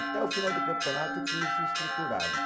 Até o final do campeonato o time se estruturava.